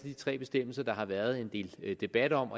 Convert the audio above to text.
de tre bestemmelser der har været en del debat om